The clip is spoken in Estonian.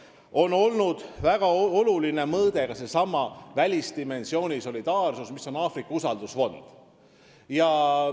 Ka nende puhul on väga oluline olnud seesama välisdimensiooni solidaarsus, milleks on loodud Aafrika usaldusfond.